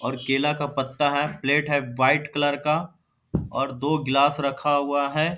और केला का पत्ता है प्लेट है व्हाइट कलर का और दो ग्लास रखा हुआ है।